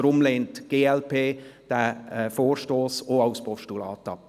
Deshalb lehnt die glp diesen Vorstoss auch als Postulat ab.